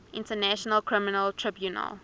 international criminal tribunal